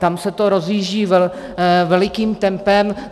Tam se to rozjíždí velikým tempem.